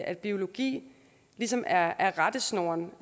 at biologi ligesom er er rettesnoren